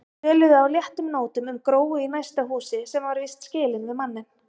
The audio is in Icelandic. Töluðu á léttum nótum um Gróu í næsta húsi sem var víst skilin við manninn.